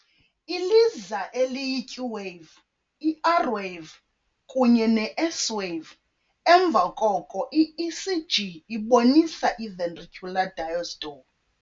Iliza eliyi- Q-wave, i-R-wave, kunye ne-S-wave. emva koko i-ECG ibonisa i-ventricular diastole.